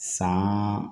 San